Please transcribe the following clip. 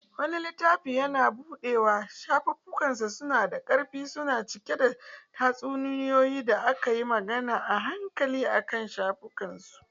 Wani littafi yana buɗewa, shafunansa suna da ƙarfi kuma cike da tatsuniyoyi da aka yi magana a hankali akan shafukansu.